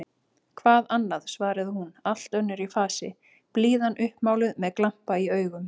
Hvað annað? svaraði hún allt önnur í fasi, blíðan uppmáluð, með glampa í augum.